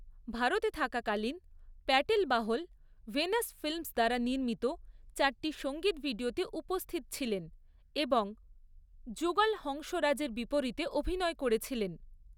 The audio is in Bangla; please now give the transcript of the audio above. ভারতে থাকাকালীন প্যাটেল বাহল ভেনাস ফিল্মস দ্বারা নির্মিত চারটি সঙ্গিত ভিডিওতে উপস্থিত ছিলেন এবং জুগল হংসরাজের বিপরীতে অভিনয় করেছিলেন।